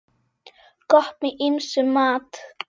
Gott með ýmsum mat.